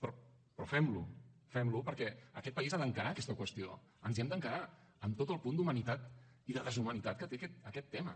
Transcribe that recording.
però fem lo fem lo perquè aquest país ha d’encarar aquesta qüestió ens hi hem d’encarar amb tot el punt d’humanitat i de deshumanitat que té aquest tema